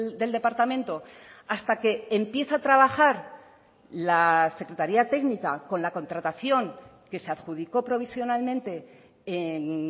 del departamento hasta que empieza a trabajar la secretaria técnica con la contratación que se adjudicó provisionalmente en